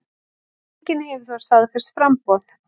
Enginn hefur þó staðfest framboð.